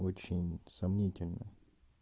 очень сомнительно